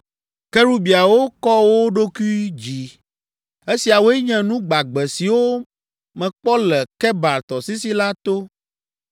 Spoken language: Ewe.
Kerubiawo kɔ wo ɖokui dzi. Esiawoe nye nu gbagbe siwo mekpɔ le Kebar Tɔsisi la to.